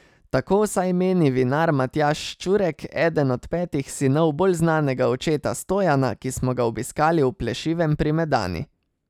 Tako vsaj meni vinar Matjaž Ščurek, eden od petih sinov bolj znanega očeta Stojana, ki smo ga obiskali v Plešivem pri Medani.